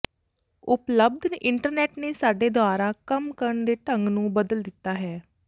ਉਪਲਬਧ ਇੰਟਰਨੈਟ ਨੇ ਸਾਡੇ ਦੁਆਰਾ ਕੰਮ ਕਰਨ ਦੇ ਢੰਗ ਨੂੰ ਬਦਲ ਦਿੱਤਾ ਹੈ